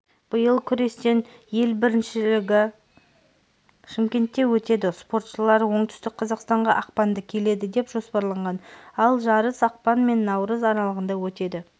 биыл күрестен ел біріншілігі шымкентте өтеді спортшылар оңтүстік қазақстанға ақпанда келеді деп жоспарланған ал жарыс ақпан мен наурыз аралығында өтеді